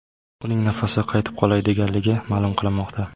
Uning nafasi qaytib qolay deganligi ma’lum qilinmoqda.